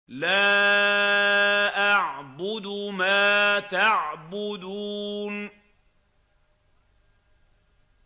لَا أَعْبُدُ مَا تَعْبُدُونَ